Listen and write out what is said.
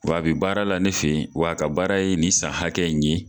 Wa a bi baara la ne fe yen wa ka baara ye nin san hakɛ in ye